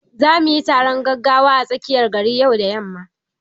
Zamu yi taron gaggawa a tsakiyar gari yau da yamma.